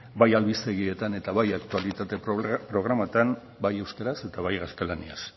bai albistegietan eta bai aktualitate programetan bai euskaraz eta bai gaztelaniaz